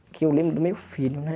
Porque eu lembro do meu filho, né?